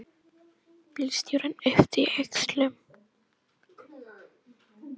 Bílstjórinn yppti öxlum.